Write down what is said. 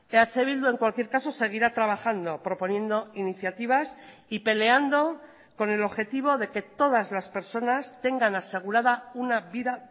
eh bildu en cualquier caso seguirá trabajando proponiendo iniciativas y peleando con el objetivo de que todas las personas tengan asegurada una vida